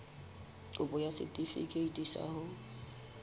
kopo ya setefikeiti sa ho